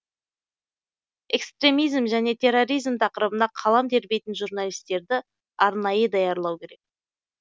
экстремизм және терроризм тақырыбына қалам тербейтін журналистерді арнайы даярлау керек